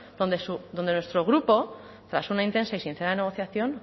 donde nuestro grupo tras una intensa y sincera de negociación